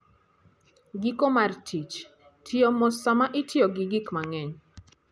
Giko mar Tich: Tiyo mos sama itiyo gi gik mang'eny.